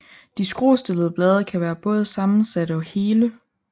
De skruestillede blade kan være både sammensatte og hele